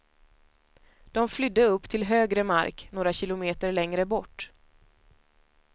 De flydde upp till högre mark, några kilometer längre bort.